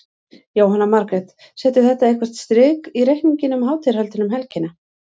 Jóhanna Margrét: Setur þetta eitthvað strik í reikninginn um hátíðarhöldin um helgina?